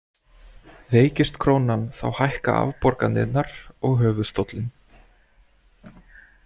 Veikist krónan þá hækka afborganirnar og höfuðstóllinn.